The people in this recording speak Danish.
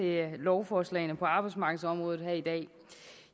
lovforslagene på arbejdsmarkedsområdet her i dag